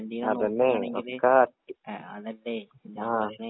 അതന്നെ ഒക്ക ആ